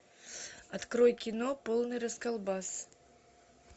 открой кино полный расколбас